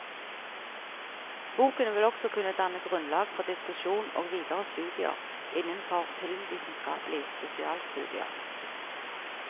Boken vil også kunne danne grunnlag for diskusjon og videre studier innenfor filmvitenskapelige spesialstudier.